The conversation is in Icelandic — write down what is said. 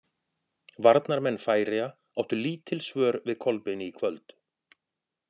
Varnarmenn Færeyja áttu lítil svör við Kolbeini í kvöld.